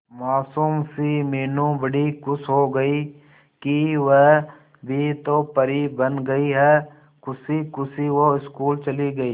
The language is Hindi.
मासूम सी मीनू बड़ी खुश हो गई कि वह भी तो परी बन गई है खुशी खुशी वो स्कूल चली गई